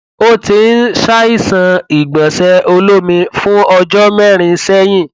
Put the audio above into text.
ó ti ń ṣàìsàn ìgbọnsẹ olómi fún ọjọ mẹrin sẹyìn